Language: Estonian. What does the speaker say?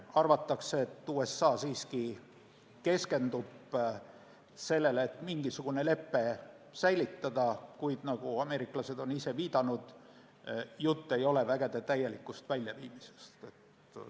Arvatakse, et USA siiski keskendub sellele, et mingisugune lepe säilitada, kuid nagu ameeriklased ise on viidanud, jutt ei ole vägede täielikust väljaviimisest.